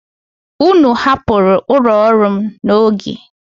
Ụnụ hapụrụ ụlọ ọrụ m n'oge.